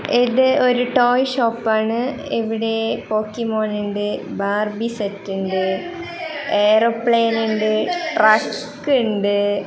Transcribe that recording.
ഇത് ഒരു ടോയ് ഷോപ്പാണ് ആണ് ഇവിടെ പോക്കിമോനുണ്ട് ബാർബി സെറ്റ് ഇണ്ട് എയ്റോപ്ലെയിൻ ഇണ്ട് ട്രക്ക് ഇണ്ട്--